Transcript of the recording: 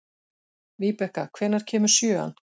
Víbekka, hvenær kemur sjöan?